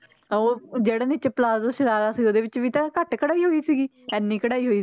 ਤਾਂ ਉਹ ਜਿਹੜਾ ਨੀਚੇ ਪਲਾਜੋ ਸਰਾਰਾ ਸੀ ਉਹਦੇ ਵਿੱਚ ਵੀ ਤਾਂ ਘੱਟ ਕਢਾਈ ਹੋਈ ਸੀਗੀ ਇੰਨੀ ਕਢਾਈ ਹੋਈ,